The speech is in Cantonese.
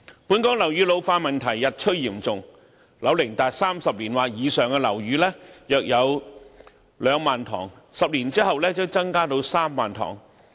本港樓宇老化問題日趨嚴重，樓齡達30年或以上的樓宇約有 20,000 幢 ，10 年後將增至 30,000 幢。